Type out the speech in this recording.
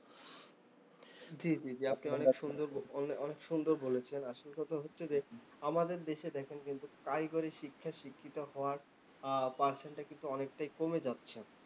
জ্বি জ্বি জ্বি, আপনি অনেক সুন্দর অনেঅনেক সুন্দর বলেছেন। আসল কথা হচ্ছে যে, আমাদের দেশে দেখেন কিন্তু কারিগরি শিক্ষায় শিক্ষিত হওয়ার percent টা কিন্তু অনেকটাই কমে যাচ্ছে।